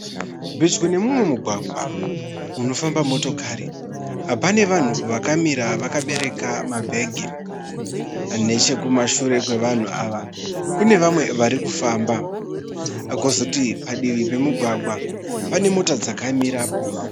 Pedyo nemumwe mugwagwa unofamba motokari. Pane vanhu vakamira vakabereka mabhegi. Nechekumashure kwevanhu ava kune vamwe varikufamba. Kozoti padivi pemugwagwa pane mota dzakamirapo.